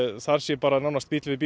það sé bíll við bíl